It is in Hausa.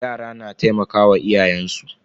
Yara na taimakawa iyayen su.